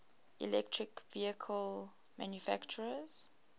electric vehicle manufacturers